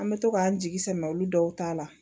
An bɛ to k'an jigi sɛmɛ olu dɔw ta la